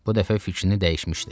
Bu dəfə fikrini dəyişmişdi.